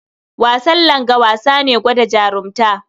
Wasan langa wasa ne gwada jarunta.